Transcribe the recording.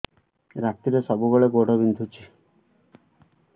ରାତିରେ ସବୁବେଳେ ଗୋଡ ବିନ୍ଧୁଛି